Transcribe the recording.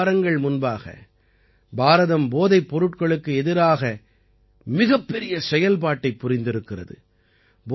இரண்டு வாரங்கள் முன்பாக பாரதம் போதைப் பொருட்களுக்கு எதிராக மிகப்பெரிய செயல்பாட்டைப் புரிந்திருக்கிறது